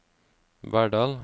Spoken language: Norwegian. Verdal